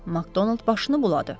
Makdonald başını buladı.